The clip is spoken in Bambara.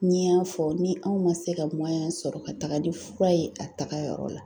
Ni n y'a fɔ ni anw ma se ka sɔrɔ ka taga ni fura ye a tagayɔrɔ la